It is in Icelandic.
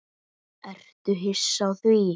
Ertu hissa á því?